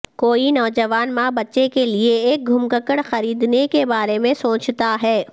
کوئی نوجوان ماں بچے کے لئے ایک گھمککڑ خریدنے کے بارے میں سوچتا ہے